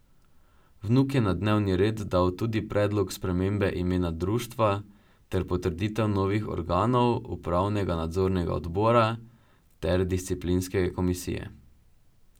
Vnuk je na dnevni red dal tudi predlog spremembe imena društva ter potrditev novih organov, upravnega in nadzornega odbora ter disciplinske komisije.